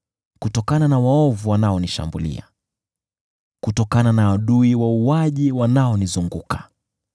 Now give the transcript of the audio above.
kutokana na waovu wanaonishambulia, kutokana na adui wauaji wanaonizunguka.